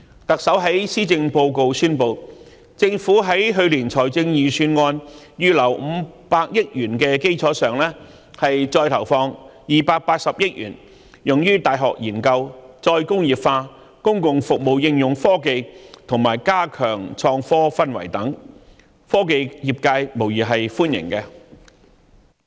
特首在施政報告宣布，政府會在去年財政預算案預留500億元的基礎上，再投放280億元用於大學研究、再工業化、公共服務應用科技，以及加強創科氛圍等，科技業界對此無疑是歡迎的。